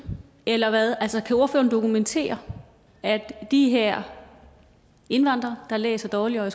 eller hvad altså kan ordføreren dokumentere at de her indvandrere der læser dårligere